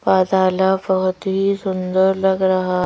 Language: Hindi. पाजला बहोत ही सुंदर लग रहा--